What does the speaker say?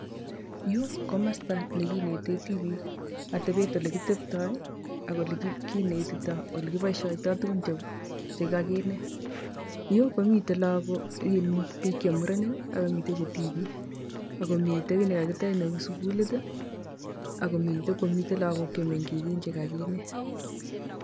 Yuu komosto nekineten tibiik atebet elekitestoi ak elekinetitoi elekiboishoitoi tukun chekakinet. Yuu komiten lokok iin biik chemurenik ak komiten chetibik ak komii kiit nekakitech neuu sukulit akomiten kwokomiten lokok cheungakinet.